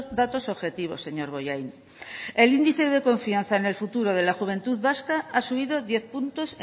datos objetivos señor bollain el índice de confianza en el futuro de la juventud vasca ha subido diez puntos